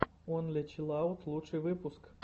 онли чилаут лучший выпуск